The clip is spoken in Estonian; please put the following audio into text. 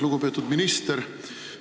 Lugupeetud minister!